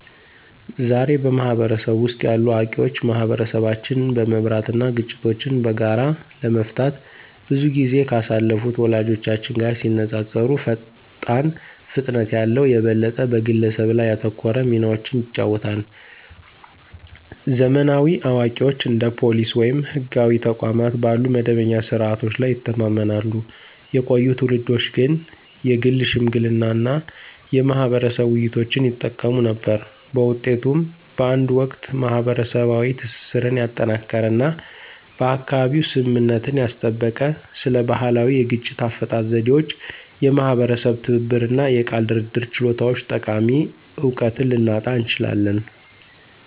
ዛሬ፣ በህብረተሰቡ ውስጥ ያሉ አዋቂዎች ማህበረሰቦችን በመምራት እና ግጭቶችን በጋራ ለመፍታት ብዙ ጊዜ ካሳለፉት ወላጆቻችን ጋር ሲነፃፀሩ ፈጣን ፍጥነት ያለው፣ የበለጠ በግለሰብ ላይ ያተኮረ ሚናዎችን ይጫወታሉ። ዘመናዊ አዋቂዎች እንደ ፖሊስ ወይም ህጋዊ ተቋማት ባሉ መደበኛ ስርዓቶች ላይ ይተማመናሉ፣ የቆዩ ትውልዶች ግን የግል ሽምግልና እና የማህበረሰብ ውይይቶችን ይጠቀሙ ነበር። በውጤቱም፣ በአንድ ወቅት ማህበረሰባዊ ትስስርን ያጠናከረ እና በአካባቢው ስምምነትን ያስጠበቀ ስለ ባህላዊ የግጭት አፈታት ዘዴዎች፣ የማህበረሰብ ትብብር እና የቃል ድርድር ችሎታዎች ጠቃሚ እውቀትን ልናጣ እንችላለን።